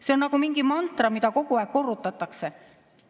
See on nagu mingi mantra, mida kogu aeg korrutatakse.